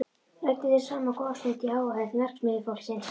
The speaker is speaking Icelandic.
Ræddu þeir saman góða stund í áheyrn verksmiðjufólksins.